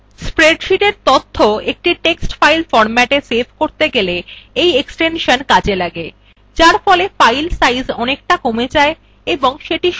এই spreadsheetএর তথ্য একটি text file ফরম্যাটে সেভ করতে ব্যবহৃত হয় যারফলে file সাইজ অনেকটা কমে যায় এবং সেটি size portable হয়